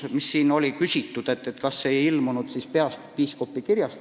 Siin on küsitud, kas peapiiskopi kiri mõjutas eelnõu sõnastust.